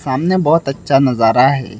सामने बहोत अच्छा नजारा है।